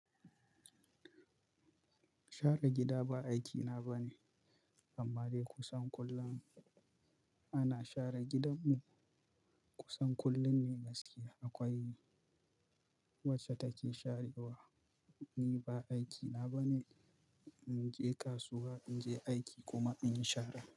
Share gida ba aikina ba ne, amma dai kusan kullum ana share gidanmu. Kusan kullum ne gaskiya. Akwai wacce take sharewa, ni ba aikina ba ne. In je kasuwa, in je aiki kuma in yi share.